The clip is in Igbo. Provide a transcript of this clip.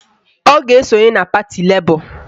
Ọ ga-esonye na pati Lebọ